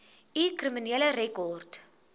u kriminele rekord